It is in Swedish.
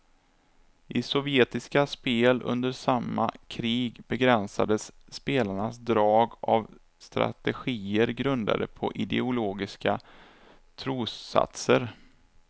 I sovjetiska spel under samma krig begränsades spelarnas drag av strategier grundade på ideologiska trossatser.